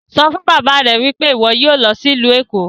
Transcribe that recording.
Sọ fun baba rẹ pe iwọ yoo lọ si ilu Eko!